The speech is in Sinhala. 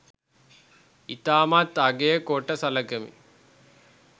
ඉතාමත් අගය කොට සලකමි.